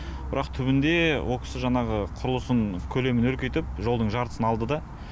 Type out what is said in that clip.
бірақ түбінде ол кісі жаңағы құрылысын көлемін үлкейтіп жолдың жартысын алды да